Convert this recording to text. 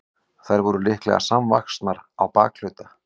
þær voru líklega samvaxnar á bakhluta